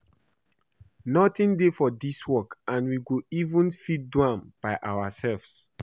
Nothing dey for dis work and we go even fit do am by ourselves.